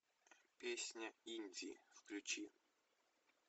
песня индии включи